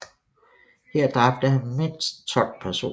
Her dræbte han mindst 12 personer